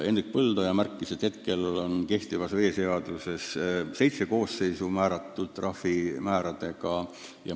Hendrik Põldoja märkis, et kehtivas veeseaduses on seitsme koosseisu puhul ette nähtud teatud trahvimäärad.